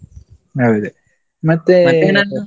ಹೌದು .